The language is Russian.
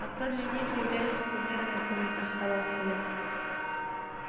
а кто для них является кумирами поинтересовался я